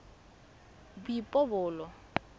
boipobolo